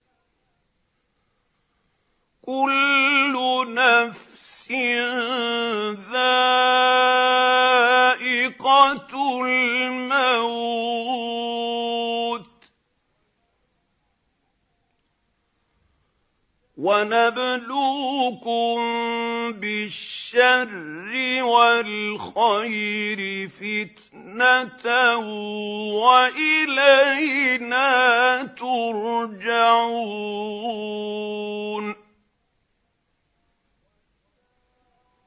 كُلُّ نَفْسٍ ذَائِقَةُ الْمَوْتِ ۗ وَنَبْلُوكُم بِالشَّرِّ وَالْخَيْرِ فِتْنَةً ۖ وَإِلَيْنَا تُرْجَعُونَ